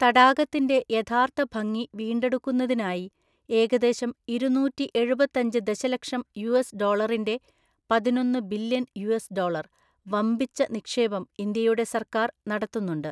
തടാകത്തിൻ്റെ യഥാർത്ഥ ഭംഗി വീണ്ടെടുക്കുന്നതിനായി ഏകദേശം ഇരുനൂറ്റിഎഴുപത്തഞ്ച് ദശലക്ഷം യുഎസ് ഡോളറിൻ്റെ (പതിനൊന്നു ബില്യൺ യുഎസ് ഡോളർ) വമ്പിച്ച നിക്ഷേപം ഇന്ത്യയുടെ സർക്കാർ നടത്തുന്നുണ്ട്.